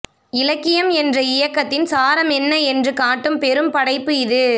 இலக்கியம் என்ற இயக்கத்தின் சாரமென்ன என்று காட்டும் பெரும் படைப்பு இது